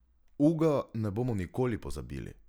Uga ne bomo nikoli pozabili.